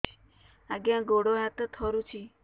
ଆଜ୍ଞା ଗୋଡ଼ ହାତ ଥରୁଛି